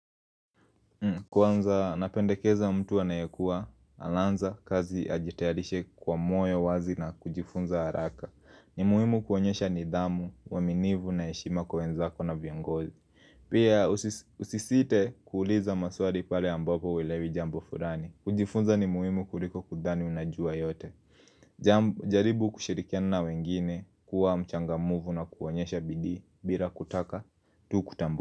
Kwanza napendekeza mtu anayekua anaanza kazi ajitayarishe kwa moyo wazi na kujifunza haraka. Ni muhimu kuonyesha nidhamu, uaminifu na heshima kwa wenzako na viongozi. Pia usisite kuuliza maswali pale ambapo huelewi jambo fulani. Kujifunza ni muhimu kuliko kudhani unajua yote jaribu kushirikiana na wengine kuwa mchangamfu na kuonyesha bidii bila kutaka tu kutambulika.